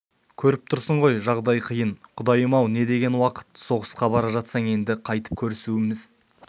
көріп тұрсың ғой жағдай қиын құдайым-ау не деген уақыт соғысқа бара жатсаң енді қайтып көрісуіміз